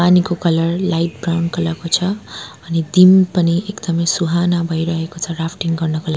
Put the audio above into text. पानीको colour light brown colour को छ अनि दिन पनि एकदमै सुहाना भइरहेको छ राफ्टिङ गर्नको ला--